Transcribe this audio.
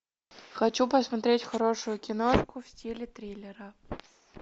хочу посмотреть хорошую киношку в стиле триллера